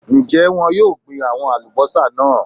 Ń jẹ́ wọn yìí ó gbin àwọn Alubọ́sá náà